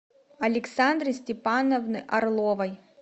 александры степановны орловой